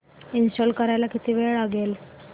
install करायला किती वेळ लागेल